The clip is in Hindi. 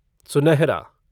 सुनहरा